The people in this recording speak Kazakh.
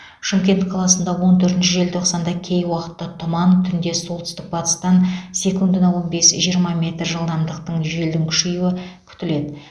шымкент қаласында он төртінші желтоқсанда кей уақытта тұман түнде солтүстік батыстан секундына он бес жиырма метр жылдамдықтың желдің күшеюі күтіледі